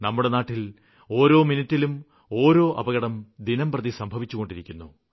നമ്മുടെ നാട്ടില് ഒരോ മിനിട്ടിലും ഓരോ അപകടം ദിനംപ്രതി സംഭവിച്ചുകൊണ്ടിരിക്കുന്നു